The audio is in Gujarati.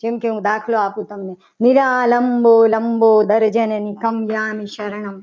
જેમ કે હું દાખલો આપું તમને મીરા લંબો લંબો દર્શન ની તરણામી શર્મા